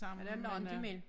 Er der langt imellem